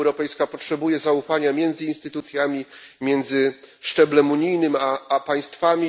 Unia Europejska potrzebuje zaufania między instytucjami, między szczeblem unijnym a państwami.